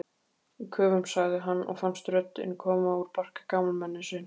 Köfum sagði hann og fannst röddin koma úr barka gamalmennis.